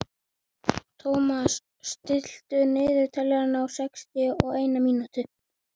Thomas, stilltu niðurteljara á sextíu og eina mínútur.